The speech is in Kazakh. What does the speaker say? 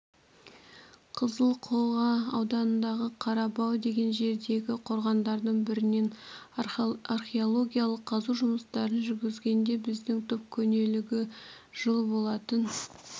қызылқоға ауданындағы қарабау деген жердегі қорғандардың бірінен археологиялық қазу жұмыстарын жүргізгенде біздің топ көнелігі жыл болатын